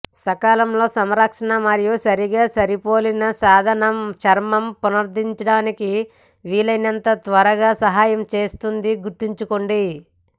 సకాలంలో సంరక్షణ మరియు సరిగ్గా సరిపోలిన సాధనం చర్మం పునరుద్ధరించడానికి వీలైనంత త్వరగా సహాయం చేస్తుంది గుర్తుంచుకోండి